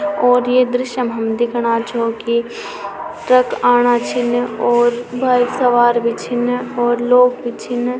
और ये दृश्य मा हम दिखणा छो की ट्रक आणा छिन और भाईसाब आर भी छिन और लोग भी छिन।